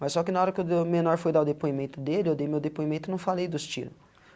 Mas só que na hora que o do menor foi dar o depoimento dele, eu dei meu depoimento e não falei dos tiro.